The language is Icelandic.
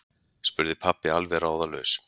spurði pabbi alveg ráðalaus.